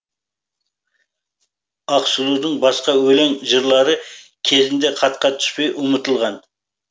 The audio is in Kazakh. ақсұлудың басқа өлең жырлары кезінде хатқа түспей ұмытылған